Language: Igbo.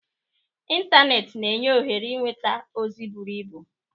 Ịntanetị na-enye ohere ịnweta ozi buru ibu.